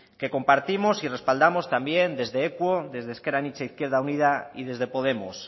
que compartimos y respaldamos también desde equo desde ezker anitza izquierda unida y desde podemos